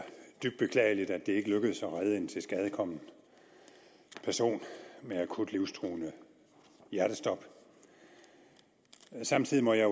dybt beklageligt at det ikke lykkedes at redde en tilskadekommet person med akut livstruende hjertestop samtidig må jeg